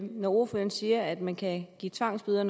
når ordføreren siger at man kan give tvangsbøder